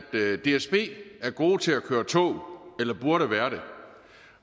dsb er gode til at køre tog eller burde være det